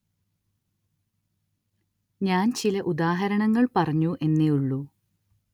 ഞാന്‍ ചില ഉദാഹരണങ്ങള്‍ പറഞ്ഞു എന്നേ ഉള്ളൂ